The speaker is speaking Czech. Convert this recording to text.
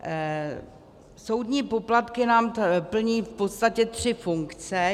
Soudní poplatky nám plní v podstatě tři funkce.